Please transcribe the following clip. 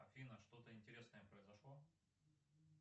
афина что то интересное произошло